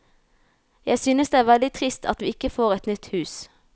Jeg synes det er veldig trist at vi ikke får et nytt hus.